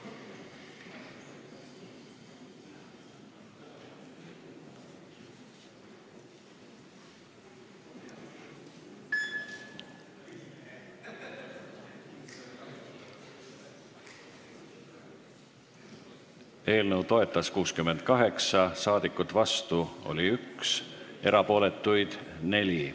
Hääletustulemused Eelnõu toetas 68 rahvasaadikut, vastu oli 1, erapooletuid 4.